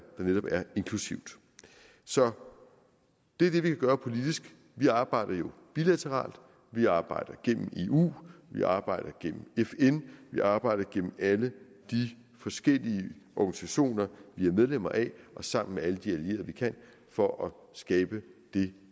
netop er inklusivt så det er det vi kan gøre politisk vi arbejder jo bilateralt vi arbejder gennem eu vi arbejder gennem fn vi arbejder gennem alle de forskellige organisationer vi er medlemmer af og sammen med alle de allierede vi kan for at skabe det